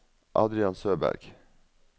Adrian Søberg